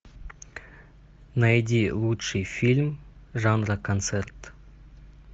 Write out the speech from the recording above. найди лучший фильм жанра концерт